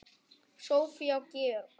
Soffía og Georg.